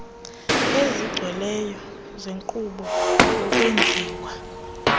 ezigcweleyo zenkqubo yokwenziwa